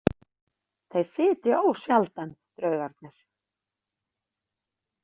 Þeir sitja ósjaldan, draugarnir.